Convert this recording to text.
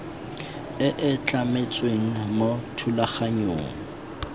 e e tlametsweng mo thulaganyong